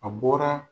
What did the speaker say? A bɔra